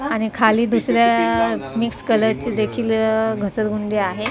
आणि खाली दुसऱ्या मिक्स कलरची देखील अ घसरगुंडी आहे बा--